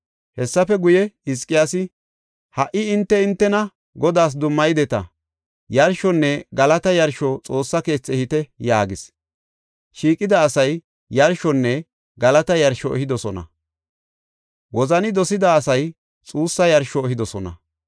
Hessafe guye, Hizqiyaasi, “Ha77i hinte hintena Godaas dummayideta. Yarshonne galata yarsho Xoossa keethi ehite” yaagis. Shiiqida asay yarshonne galata yarsho ehidosona; wozani dosida asay xuussa yarsho ehidosona.